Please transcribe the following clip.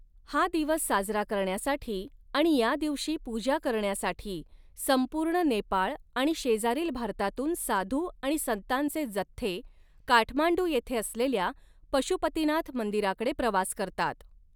हा दिवस साजरा करण्यासाठी आणि या दिवशी पूजा करण्यासाठी संपूर्ण नेपाळ आणि शेजारील भारतातून साधू आणि संतांचे जथ्थे, काठमांडू येथे असलेल्या पशुपतीनाथ मंदिराकडे प्रवास करतात.